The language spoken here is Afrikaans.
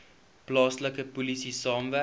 plaaslike polisie saamwerk